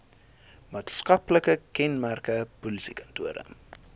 maatskaplike kenmerke polisiekantore